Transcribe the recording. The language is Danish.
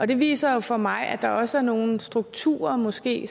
det viser jo for mig at der også er nogle strukturer og måske